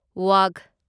ꯋꯥꯒꯍ